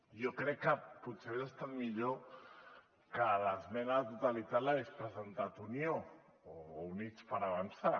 jo crec que potser hagués estat millor que l’esmena a la totalitat l’hagués presentat unió o units per avançar